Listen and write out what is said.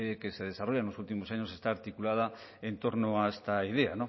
que se desarrolla en los últimos años está articulada en torno a esta idea